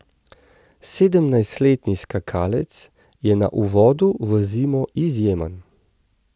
Sedemnajstletni skakalec je na uvodu v zimo izjemen.